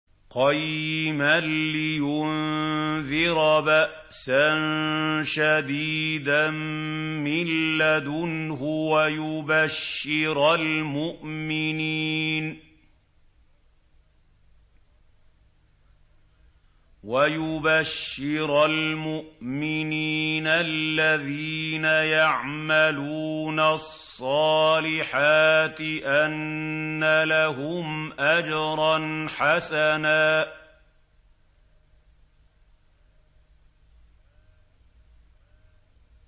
قَيِّمًا لِّيُنذِرَ بَأْسًا شَدِيدًا مِّن لَّدُنْهُ وَيُبَشِّرَ الْمُؤْمِنِينَ الَّذِينَ يَعْمَلُونَ الصَّالِحَاتِ أَنَّ لَهُمْ أَجْرًا حَسَنًا